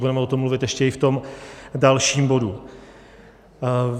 Budeme o tom mluvit ještě i v tom dalším bodu.